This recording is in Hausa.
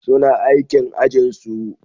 Suna aikin ajinsu.